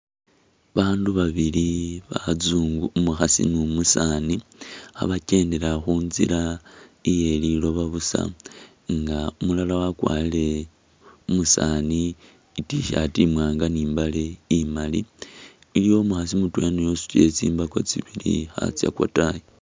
Abandu babili basungu umukhaasi ne umusaani khabakendela khuntsila iye liloba busa nga umulala wakwarile , umusaani I't-shirt imwanga ni'mbaale imaali iliwo umukhaasi mutwela naye usutile tsimbaako tsibili khatsa kwataayi